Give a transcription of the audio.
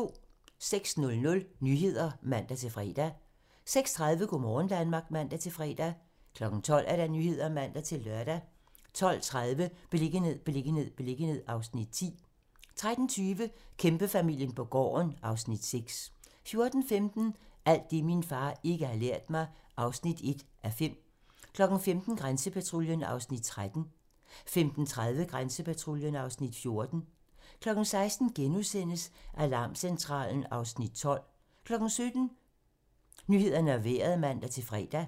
06:00: Nyhederne (man-fre) 06:30: Go' morgen Danmark (man-fre) 12:00: Nyhederne (man-lør) 12:30: Beliggenhed, beliggenhed, beliggenhed (Afs. 10) 13:20: Kæmpefamilien på gården (Afs. 6) 14:15: Alt det, min far ikke har lært mig (1:5) 15:00: Grænsepatruljen (Afs. 13) 15:30: Grænsepatruljen (Afs. 14) 16:00: Alarmcentralen (Afs. 12)* 17:00: Nyhederne og Vejret (man-fre)